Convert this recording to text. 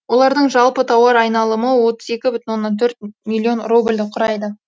олардың жалпы тауар айналымы отыз екі бүтін оннан төрт миллион рубльді құрайды